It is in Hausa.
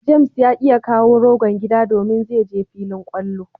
"James " ya ki ya kawo rogon gida domin zai je filin kwallo.